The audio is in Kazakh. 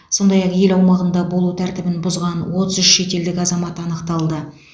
сондай ақ ел аумағында болу тәртібін бұзған отыз үш шетелдік азамат анықталды